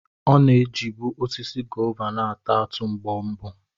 Ọ na-ejibu osisi gová na-ata atụ mgbe mbụ.